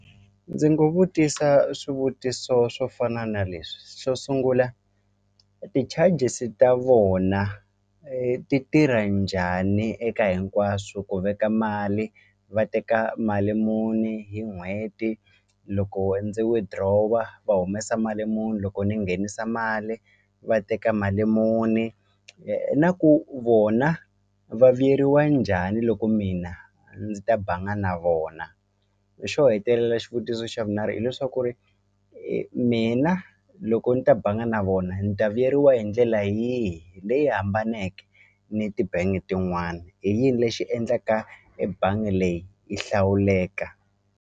Ndzi nga vutisa swivutiso swo fana na leswi xo sungula ti-charges ta vona ti tirha njhani eka hinkwaswo ku veka mali va teka mali muni hi n'hweti loko ndzi withdraw-a va humesa mali muni loko ni nghenisa mali va teka mali muni na ku vona va vuyeriwa njhani loko mina ndzi ta banga na vona xo hetelela xivutiso xa vunharhu hileswaku ri mina loko ni ta banga na vona ni ta vuyeriwa hi ndlela yihi leyi hambaneke ni ti-bank tin'wani i yini lexi endlaka ebangi leyi yi hlawuleka.